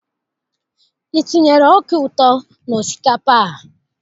I tinyere ọka ụtọ n'osikapa a?